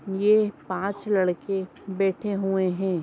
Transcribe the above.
ये पाँच लड़के बैठे हुए हैं।